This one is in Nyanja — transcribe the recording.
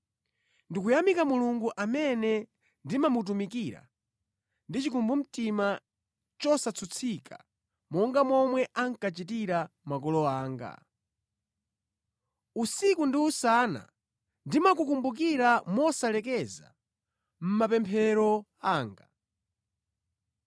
Ndikuyamika Mulungu amene ndimamutumikira ndi chikumbumtima chosatsutsika, monga momwe ankachitira makolo anga. Usiku ndi usana ndimakukumbukira mosalekeza mʼmapemphero anga.